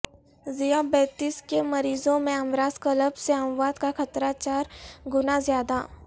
ذیابیطس کے مریضوں میں امراض قلب سے اموات کاخطرہ چار گنازیادہ